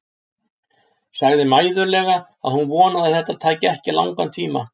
Sagði mæðulega að hún vonaði að þetta tæki ekki langan tíma.